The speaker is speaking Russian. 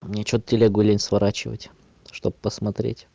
ничего тебе гулять сворачивать чтобы посмотреть